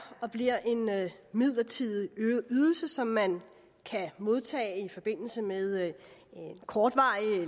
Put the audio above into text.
og bliver en midlertidig ydelse som man kan modtage i forbindelse med kortvarig